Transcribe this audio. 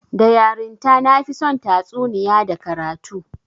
Da yarinta, na fi son tatsuniya da karatu